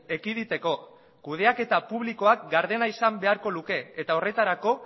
ekiditeko kudeaketa publikoak gardena izan beharko luke eta horretarako